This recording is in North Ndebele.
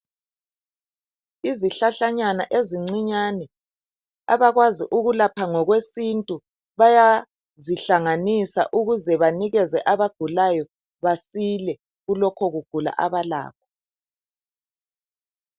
Izihlahlanyana ezincinyane abakwazi ukulapha ngokwesintu bayazihlanganisa ukuze banike abagulayo basile kulokho kugula abalakho .